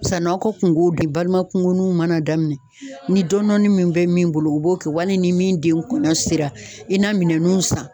Sann'aw ka kunkow kɛ balima kunkosninw mana daminɛ ,ni dɔɔni dɔɔnin min bɛ min bolo u b'o kɛ wali ni min den kɔɲɔ sera i na minɛnnuw san.